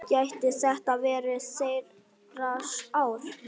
Gæti þetta verið þeirra ár?